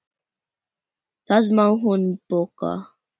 Það má hún bóka.